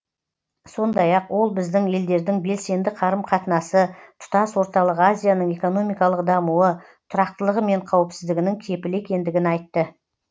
сондай ақ ол біздің елдердің белсенді қарым қатынасы тұтас орталық азияның экономикалық дамуы тұрақтылығы мен қауіпсіздігінің кепілі екендігін айтты